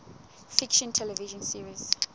fiction television series